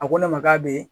A ko ne ma k'a bɛ